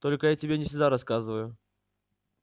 только я тебе не всегда рассказываю